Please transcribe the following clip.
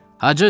Hacı!